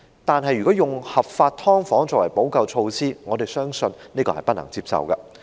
可是，如果以合法"劏房"作為補救措施，我們相信這是不能接受的。